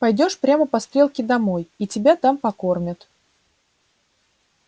пойдёшь прямо по стрелке домой и тебя там покормят